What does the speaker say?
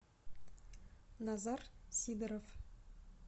назар сидоров